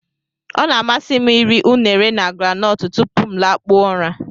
Ọ na-amasị m iri unere na groundnut tupu m lakpuo ụra.